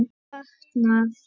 Honum var batnað.